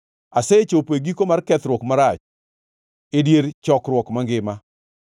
Asechopo e giko mar kethruok marach e dier chokruok mangima.”